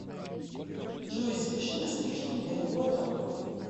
джой запиши на стрижку недалеко от работы